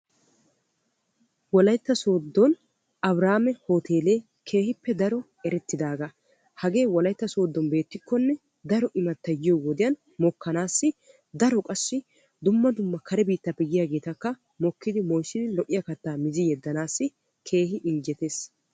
Wolaytta sooddon Abrhamme Hootele keehippe daro erettiidaaga. hagee wolaytta Sooddon beettikkonne daro immattay diyo wodiyan mokkanassi daro qassi dumma dumma kare biittappe yiyaagetakka mokkidi moyzzidi lo''iya kattaa mizzi yedanassi keehin injjettees.